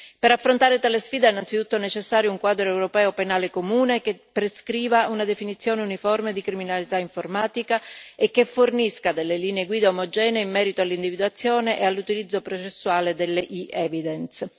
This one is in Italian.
Per affrontare tale sfida, innanzitutto è necessario un quadro europeo penale comune che prescriva una definizione uniforme di criminalità informatica e che fornisca delle linee guida omogenee in merito all'individuazione e all'utilizzo processuale delle e evidence